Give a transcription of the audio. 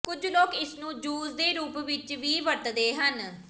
ਕੁਝ ਲੋਕ ਇਸਨੂੰ ਜੂਸ ਦੇ ਰੂਪ ਵਿੱਚ ਵੀ ਵਰਤਦੇ ਹਨ